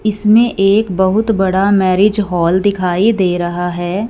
इसमें एक बहुत बड़ा मैरिज हॉल दिखाई दे रहा है।